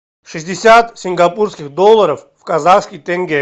шестьдесят сингапурских долларов в казахских тенге